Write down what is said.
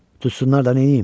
Tutusunlar da neyləyim?